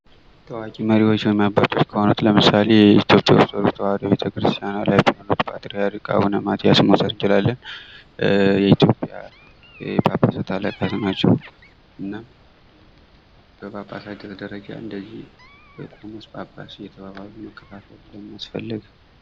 ታዋቂ መሪዎች ወይም አባቶች ከሆኑት ለምሳሌ የኢትዮጵያ ውስጥ ኦርቶዶክስ ተዋህዶ ቤተክርስቲያን ፓትርያርክ የሆኑትን አቡነ ማትያስን መውሰድ እንችላለን። የኢትዮጵያ የጳጳሣት አለቃ ናቸው። እና በጳጳሳቱ ደረጃ እንደዚህ ቆሞስ፣ ጳጳስ እየተባባሉ መከፋፈል ለምን አስፈለገ?